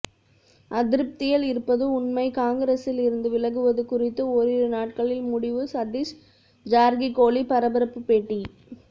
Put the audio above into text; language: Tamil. அதிருப்தியில் இருப்பது உண்மை காங்கிரசில் இருந்து விலகுவது குறித்து ஓரிரு நாட்களில் முடிவு சதீஸ் ஜார்கிகோளி பரபரப்பு பேட்டி